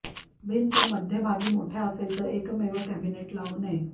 भिंत मध्यभागी मोठ्या असेल तर एकमेव कॅबिनेट लावू नये